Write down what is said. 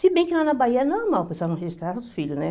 Se bem que lá na Bahia é normal o pessoal não registrar os filhos, né?